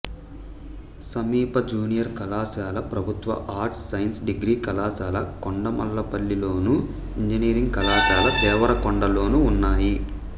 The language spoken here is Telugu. సమీప జూనియర్ కళాశాల ప్రభుత్వ ఆర్ట్స్ సైన్స్ డిగ్రీ కళాశాల కొండమల్లపల్లిలోను ఇంజనీరింగ్ కళాశాల దేవరకొండలోనూ ఉన్నాయి